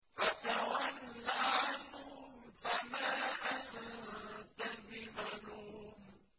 فَتَوَلَّ عَنْهُمْ فَمَا أَنتَ بِمَلُومٍ